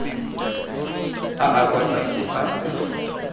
a a kwa tlase a